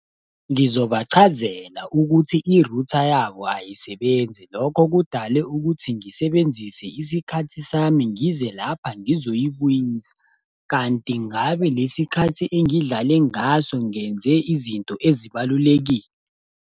Ngizobachazela ukuthi i-router yabo ayisebenzi, lokho kudale ukuthi ngisebenzise isikhathi sami ngize lapha ngizoyibuyisa. Kanti ngabe lesi khathi engidlale ngaso ngenze izinto ezibalulekile.